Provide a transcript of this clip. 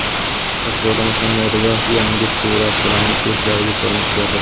Shahzoda Muhammedova yangi surat bilan muxlislariga ko‘rinish berdi.